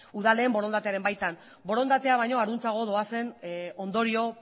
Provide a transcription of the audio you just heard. udalen borondatearen baitan borondatea baino harantzago doazen ondorio